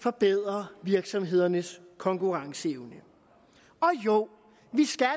forbedre virksomhedernes konkurrenceevne og jo vi skal